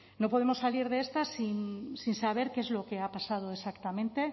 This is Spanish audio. no podemos salir de esta sin saber qué es lo que ha pasado exactamente